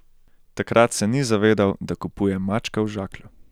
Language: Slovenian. Takrat se ni zavedal, da kupuje mačka v žaklju.